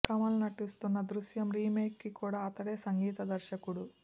కమల్ నటిస్తున్న దృశ్యం రీమేక్ కి కూడా అతడే సంగీత దర్శకుడు